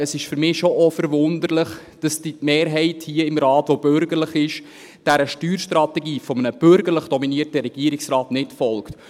Es ist für mich schon auch verwunderlich, dass die Mehrheit hier im Rat, die bürgerlich ist, dieser Steuerstrategie eines bürgerlich dominierten Regierungsrates nicht folgt.